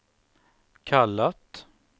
kallat